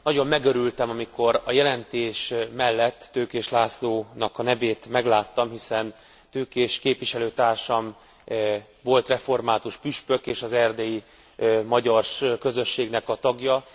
Nagyon megörültem, amikor a jelentés mellet Tőkés Lászlónak a nevét megláttam, hiszen Tőkés képviselőtársam volt református püspök és az erdélyi magyar közösségnek a tagja.